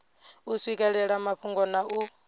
u swikelela mafhungo na u